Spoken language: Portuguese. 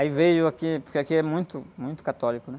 Aí veio aqui, porque aqui é muito, muito católico, né?